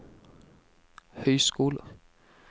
høyskoler